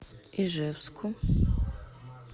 ижевску